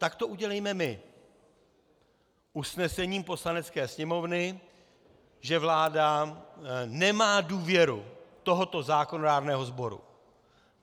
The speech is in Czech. Tak to udělejme my usnesením Poslanecké sněmovny, že vláda nemá důvěru tohoto zákonodárného sboru.